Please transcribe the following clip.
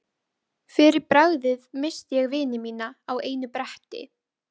Fyrir bragðið missti ég vini mína á einu bretti.